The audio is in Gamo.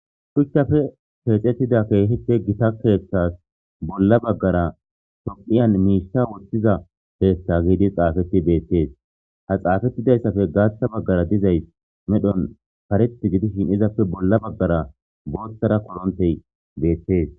Shuchchappe keexettida keehippe gita keeththas bolla baggara tophphiyan miisha woththiza keeththa giidi xaafetti beettees. Ha xaafettidayssappe gaaththa baggara dizays medhon kareththi gidishin izappe bolla baggara booththara korontey beettees.